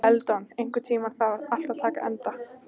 Eldon, einhvern tímann þarf allt að taka enda.